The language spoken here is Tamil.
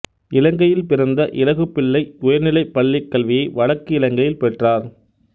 இலங்கையில் பிறந்த இலகுப்பிள்ளை உயர்நிலைப் பள்ளிக் கல்வியை வடக்கு இலங்கையில் பெற்றார்